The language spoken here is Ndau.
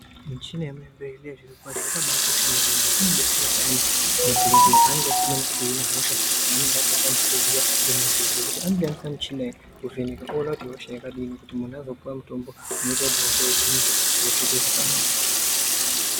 Michina yemuzvibhedhlera zviro kwazvo Yakabaakosha maningi ngekuti inodetsera payani madhokodheya paaenenge asinganyasi kuhina hosha yaanenge asingakwanisi kuhina anoshandise michina iyi kuvheneka oona kuti ihosha yakadii Kuti munhu azopuwa mutombo unoita kuti hosha ihinike zviro zviite zvakanaka.